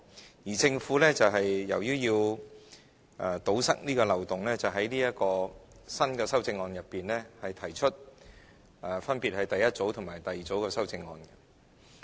由於政府要堵塞這個漏洞，便在這項新的修正案中，分別提出第一組和第二組的修正案。